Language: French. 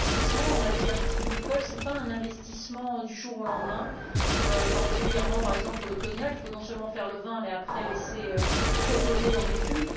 Et l'investissement en matière vitivinicole, ce n'est pas un investissement du jour au lendemain, particulièrement, par exemple, pour le cognac il faut non seulement faire le vin, mais ensuite le laisser reposer dans des fûts.